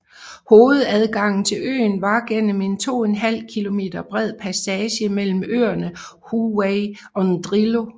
Hovedadgangen til øen var gennem en 2½ km bred passage mellem øerne Hauwei og Ndrilo